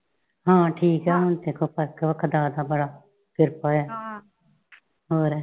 ਹਾਂ ਠੀਕ ਆ ਹੁਣ ਤੇ ਦੇਖੋ ਫ਼ਰਕ ਆ ਦੱਸਦਾ ਬੜਾ। ਕ੍ਰਿਪਾ ਏ ਆ।